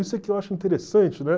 Isso é que eu acho interessante, né?